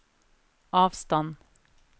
avstand